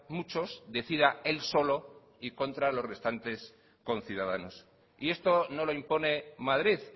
muchos decida él solo y contra los restantes conciudadanos y esto no lo impone madrid